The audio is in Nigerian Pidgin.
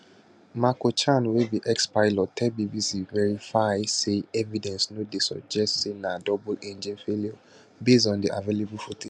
marco chan wey be expilot tell bbc verify say evidence no dey to suggest say na double engine failure based on di available footage